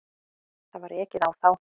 Það var ekið á þá.